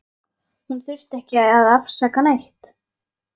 Hún þurfti ekki að afsaka neitt.